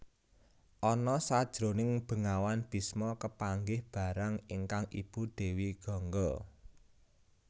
Ana sajroning bengawan Bisma kepanggih marang ingkang ibu Dewi Gangga